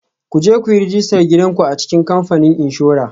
Ku je ku yi rajistar gidan ku a cikin kamfanin inshora